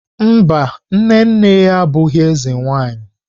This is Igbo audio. Mba, nne nne ya abụghị eze nwanyi.